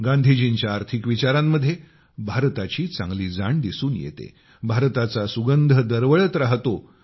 गांधीजींच्या आर्थिक विचारांमध्ये भारताची चांगली जाण दिसून येते भारताचा सुगंध दरवळत राहतो